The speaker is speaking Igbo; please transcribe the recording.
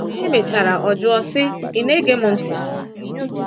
Emechara ọ jụọ sị, Ị̀ na-ege m ntị?